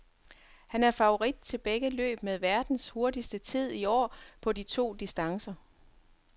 Han er favorit til begge løb med verdens hurtigste tid i år på de to distancer.